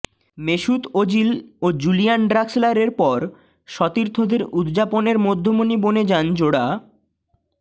Mesut Ozil ও Julian ড্রাক্সলারের পর সতীর্থদের উদযাপনের মধ্যমণি বনে যান জোড়া